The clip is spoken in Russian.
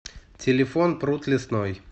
телефон пруд лесной